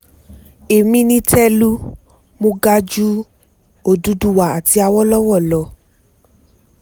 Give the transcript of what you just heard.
èmi ni telu mọ́ ga ju òdúdúwa àti àwolowo lọ